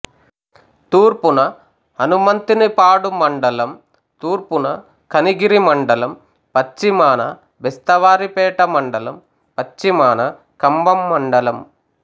తూర్పున హనుమంతునిపాడు మండలం తూర్పున కనిగిరి మండలం పశ్చిమాన బెస్తవారిపేట మండలం పశ్చిమాన కంభం మండలం